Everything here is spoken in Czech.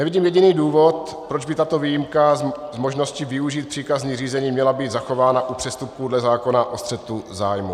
Nevidím jediný důvod, proč by tato výjimka z možnosti využít příkazní řízení, měla být zachována u přestupků dle zákona o střetu zájmů.